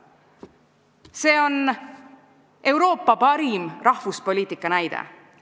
See on Euroopa parim rahvuspoliitika näide.